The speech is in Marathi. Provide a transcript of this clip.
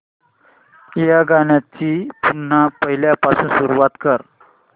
या गाण्या ची पुन्हा पहिल्यापासून सुरुवात कर